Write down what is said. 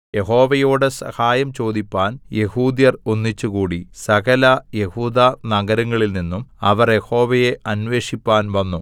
യഹോവയോട് സഹായം ചോദിപ്പാൻ യെഹൂദ്യർ ഒന്നിച്ചുകൂടി സകലയെഹൂദാ നഗരങ്ങളിൽ നിന്നും അവർ യഹോവയെ അന്വേഷിപ്പാൻ വന്നു